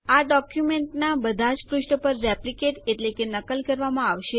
આ ડોક્યુંમેન્ટના બધા જ પુષ્ઠો પર રેપ્લીકેટ નકલ કરવામાં આવશે